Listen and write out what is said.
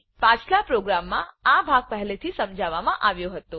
પાછલા પ્રોગ્રામમાં આ ભાગ પહેલેથી જ સમજાવવામાં આવ્યો હતો